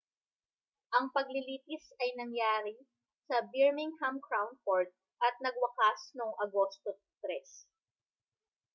ang paglilitis ay nangyari sa birmingham crown court at nagwakas noong agosto 3